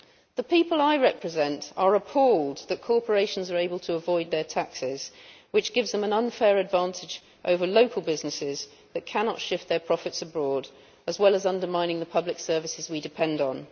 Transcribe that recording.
The people I represent are appalled that corporations are able to avoid their taxes, which gives them an unfair advantage over local businesses that cannot shift their profits abroad, as well as undermining the public services we depend on.